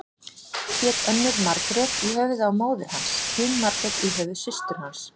Hét önnur Margrét í höfuðið á móður hans, hin Margrét í höfuð systur hans.